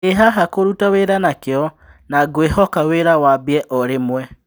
" Ndĩhaha kũruta wĩra na kĩo, na ngũĩhoka wĩra wambie o rĩmwe."